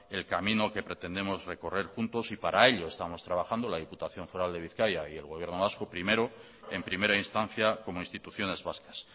el camino que pretendemos recorrer juntos y para ello estamos trabajando la diputación foral de bizkaia y el gobierno vasco primero en primera instancia como instituciones vascas